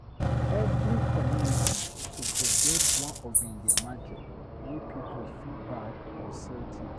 Every community suppose get one ogbonge market wey pipos fit buy or sell tins.